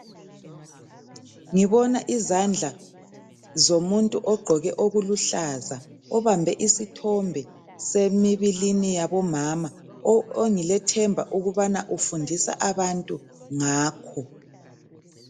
Ngibona izandla zomuntu ogqoke okuluhlaza obambe isithombe semibilini yabomama ongilethemba ukubana ufundisa abantu ngakho.